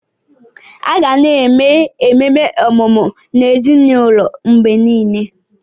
A ga na eme ememe ọmụmụ n'ezinụlọ mgbe niile.